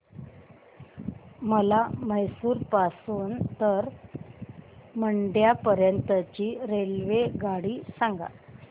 मला म्हैसूर पासून तर मंड्या पर्यंत ची रेल्वेगाडी सांगा